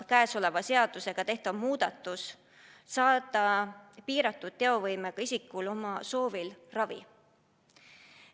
Käesoleva seadusega tehtav muudatus võimaldab piiratud teovõimega isikul tema oma soovil ravi saada.